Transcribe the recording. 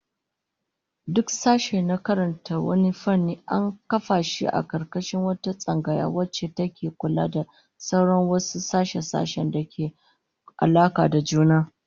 Duk sashe na karantar wani fanni, an kafa shi a karkashin wata tsangaya wacce take kula da sauran wasu sashe-sashen da ke da alaka da juna